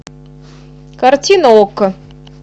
картина окко